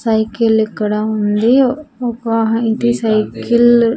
Cycle ఇక్కడ ఉంది ఒక ఇది సైకిల్ .